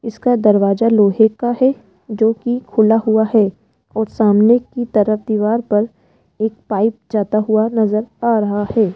इसका दरवाजा लोहे का है जो की खुला हुआ है और सामने की तरफ दीवार पर एक पाइप जाता हुआ नजर आ रहा है।